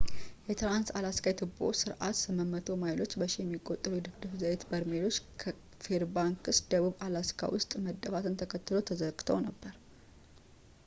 የትራንስ-አላስካ የትቦ ስርዓት 800 ማይሎች በሺ የሚቆጠሩ የድፍድፍ ዘይት በርሜሎች ከፌርባንክስ ደቡብ ፣ አላስካ ውስጥ መደፋትን ተከትሎ ተዘግተው ነበር